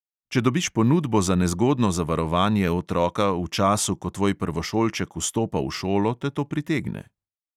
Če dobiš ponudbo za nezgodno zavarovanje otroka v času, ko tvoj prvošolček vstopa v šolo, te to pritegne.